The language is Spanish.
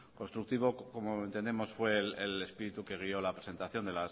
constructivo como entendemos fue el espíritu que guió la presentación